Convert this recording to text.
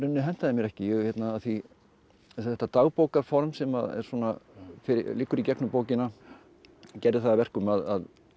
hentaði mér ekki af því þetta sem liggur í gegnum bókina gerði það að verkum að